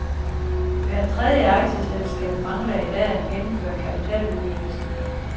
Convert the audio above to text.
Hver tredje aktieselskab mangler i dag at gennemføre kapitaludvidelsen.